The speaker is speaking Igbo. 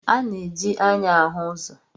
A na-eji anya ahụ ụzọ.